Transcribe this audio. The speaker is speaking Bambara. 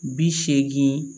Bi seegin